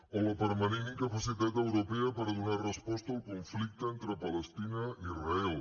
o la permanent incapacitat europea per donar resposta al conflicte entre palestina i israel